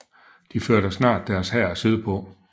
De førte snart deres hær sydpå